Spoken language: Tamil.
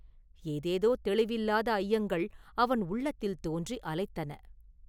ஏதேதோ தௌிவில்லாத ஐயங்கள் அவன் உள்ளத்தில் தோன்றி அலைத்தன.